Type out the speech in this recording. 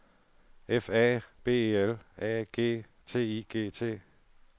F A B E L A G T I G T